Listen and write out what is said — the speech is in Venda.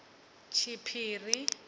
tshiphiri